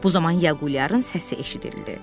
Bu zaman Yağuliyarın səsi eşidildi.